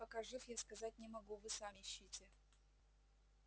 нет пока жив я сказать не могу вы сами ищите